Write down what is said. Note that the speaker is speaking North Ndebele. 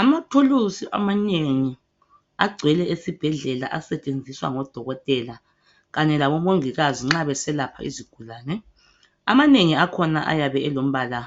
amathulusi amanengi agcwele esibhedlela asetshenziswa ngodokotela kanye laboi mongikazi nxa beselapha izigulane amanengi akhona ayabe elombala